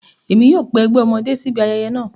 Emi yóò pe ẹgbẹ ọmọde si ibi ayẹyẹ naa